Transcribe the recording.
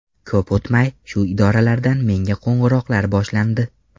Ko‘p o‘tmay shu idoralardan menga qo‘ng‘iroqlar boshlandi.